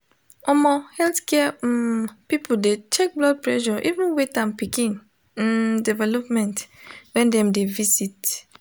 omo healthcare um people de check blood pressure even weight and pikin um development when dem de visit